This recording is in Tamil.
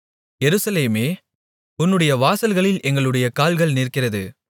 எருசலேமே உன்னுடைய வாசல்களில் எங்களுடைய கால்கள் நிற்கிறது